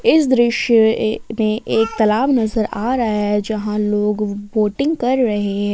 इस दृश्य ये में एक तालाब नज़र आ रहा है जहां लोग बोटिंग कर रहे--